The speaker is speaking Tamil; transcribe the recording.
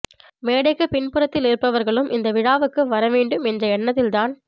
மேடைக்கு பின் புறத்தில் இருப்பவர்களும் இந்த விழாவுக்கு வரவேண்டும் என்ற எண்ணத்தில்தான்